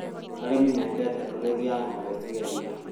Arĩmi mendete kũrĩithia ng'ombe cia iria